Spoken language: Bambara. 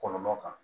Kɔlɔlɔ kan